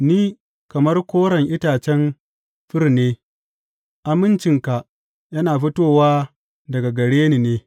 Ni kamar koren itacen fir ne; amincinka yana fitowa daga gare ni ne.